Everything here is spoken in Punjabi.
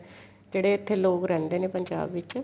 ਜਿਹੜੇ ਇੱਥੇ ਲੋਕ ਰਹਿੰਦੇ ਨੇ ਪੰਜਾਬ ਵਿੱਚ